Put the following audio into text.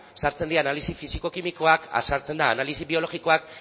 sartzen dira analisi fisiko kimikoak sartzen da analisi biologikoa